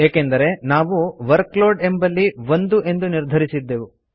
ಏಕೆಂದರೆ ನಾವು ವರ್ಕ್ಲೋಡ್ ಎಂಬಲ್ಲಿ 1 ಎಂದು ನಿರ್ಧರಿಸದ್ದೆವು